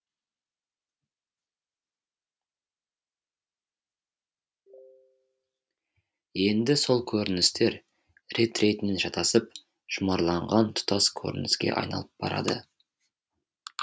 енді сол көріністер рет ретінен шатасып жұмарланған тұтас көрініске айналып барады